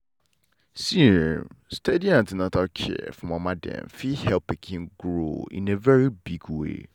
see[um]steady an ten atal care for mama dem fit help pikin grow in a very big way.